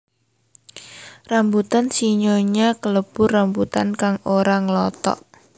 Rambutan sinyonya kalebu rambutan kang ora nglothok